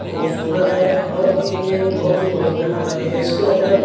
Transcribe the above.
खूबसूरत है और ये बहुत ही मजबूत बनाया गया है। इसके अंदर --